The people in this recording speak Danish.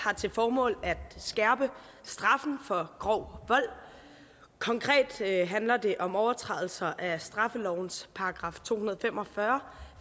har til formål at skærpe straffen for grov vold konkret handler det om overtrædelser af straffelovens § to hundrede og fem og fyrre